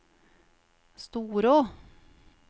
Storå